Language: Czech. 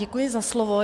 Děkuji za slovo.